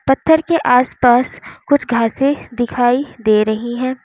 पत्थर के आसपास कुछ घासें दिखाई दे रही है।